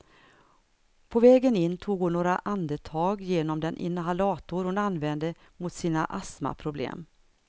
På vägen in tog hon några andetag genom den inhalator hon använder mot sina astmaproblem.